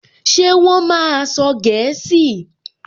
Ṣé wọ́n máa sọ gẹ̀ẹ́sì?